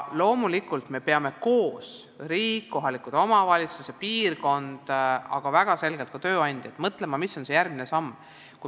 Loomulikult me peame koos – riik, kohalikud omavalitsused ja piirkond, aga väga selgelt ka tööandjad – mõtlema, mis on järgmine samm.